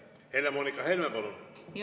Helle-Moonika Helme, palun!